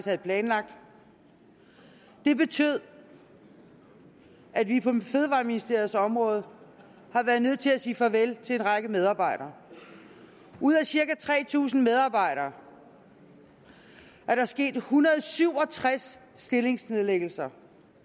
havde planlagt det betød at vi på fødevareministeriets område har været nødt til at sige farvel til en række medarbejdere ud af cirka tre tusind medarbejdere er der sket en hundrede og syv og tres stillingsnedlæggelser